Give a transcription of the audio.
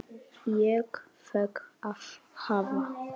Ég fékk að hafa